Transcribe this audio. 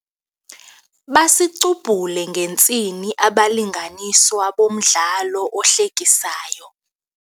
Basicubhule ngentsini abalinganiswa bomdlalo ohlekisayo.